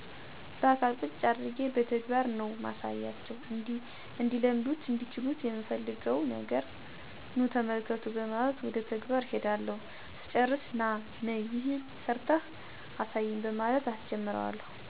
ባአካል ቁጭ አድርጌ በተግባር ነው ማሳያቸው። እንዲለምዱትና እንዲችሉት ምፈልገውን ነገር ኑ ተመልከቱ በማለት ወደ ተግባር እሄዳለሁ ስጨርስ ነይ/ና ይሄን ሰርተህ አሳየኝ በማለት አሰጀምረዋለሁ እንደኔ አርጎ ከሰራው ሌላ ተጨማሪ አሳየዋለሁ ካልቻለው ደግሞ ደግሞ ደጋግሞ መልሶ እንዲሰራው እና እንዲችለው አደርጋለሁ።